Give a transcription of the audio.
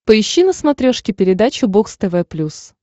поищи на смотрешке передачу бокс тв плюс